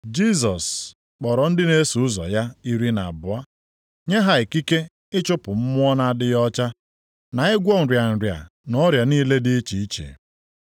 Jisọs kpọrọ ndị na-eso ụzọ ya iri na abụọ nye ha ikike ịchụpụ mmụọ na-adịghị ọcha, na ịgwọ nrịa nrịa na ọrịa niile dị iche iche.